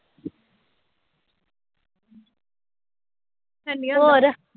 ਹਾਨੀ ਹੋਰ?